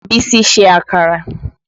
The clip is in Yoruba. Bísí ṣe àkàrà